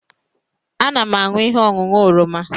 Ana m aṅụ ihe ọṅụṅụ oroma